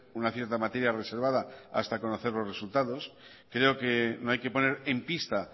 una cierta materia reservada hasta conocer los resultados creo que no hay que poner en pista